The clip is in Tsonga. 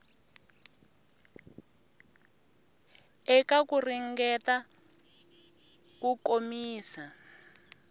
eka ku ringeta ku komisa